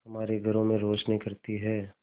हमारे घरों में रोशनी करती है